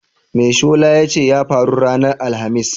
Me shola ya ce ya faru ranar Alhamis?